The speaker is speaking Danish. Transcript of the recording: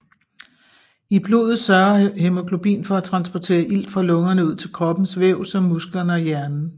I blodet sørger hæmoglobin for at transportere ilt fra lungerne ud til kroppens væv som musklerne og hjernen